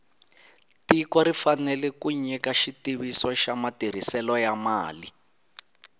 tiko ri fanele ku nyika xitiviso xa matirhiselo ya mali